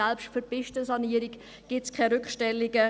Selbst für die Pistensanierung gibt es keine Rückstellungen.